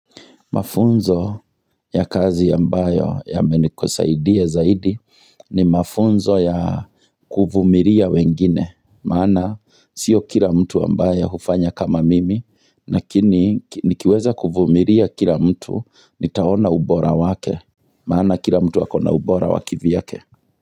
Mafunzo ya kazi ya mbayo yamenikosaidia zaidi ni mafunzo ya kuvumilia wengine, maana sio kila mtu ambaye hufanya kama mimi, nakini nikiweza kuvumilia kila mtu, nitaona ubora wake, maana kila mtu akona ubora wa kivyake.